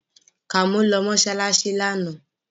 Kàmọ́ lọ mọ́ṣáláṣí lánàá